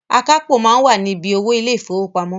Akápò máa ń wà ni bí owó ilé ìfowópamọ́